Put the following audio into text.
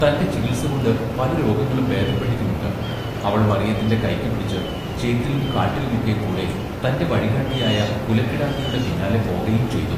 തന്റെ ചികിത്സ കൊണ്ട് പല രോഗങ്ങളും ഭേദപ്പെട്ടിട്ടുമുണ്ട് അവൾ മറിയത്തിന്റെ കയ്ക്കു പിടിച്ച് ചേറ്റിലും കാട്ടിലും ഒക്കെ കൂടെ തന്റെ വഴി കാട്ടിയായ പുല കിടാത്തിയുടെ പിന്നാലെ പോകയും ചെയ്തു.